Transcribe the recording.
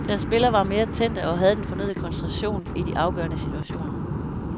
Deres spillere var mere tændte og havde den fornødne koncentration i de afgørende situationer.